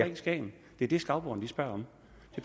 i skagen det er det skagboerne spørger om